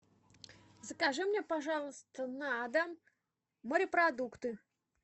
закажи мне пожалуйста на дом морепродукты